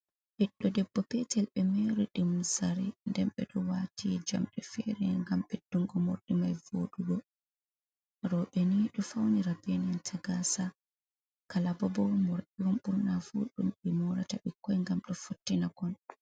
Ɓiɗdo debbo "petel ɓe mori ɗum zare, nden ɓe ɗo wati jamɗe fere ngam ɓeddungo mordimai voɗugo. Roɓe ni ɗo faunira be nan ta gasa. Kalababo morɗion ɓurna fu ɗum ɓe morata bikkoi gam ɗo fottina kon.